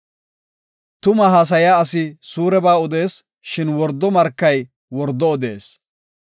Tumaa haasayiya asi suureba odees; shin wordo markay wordo odees.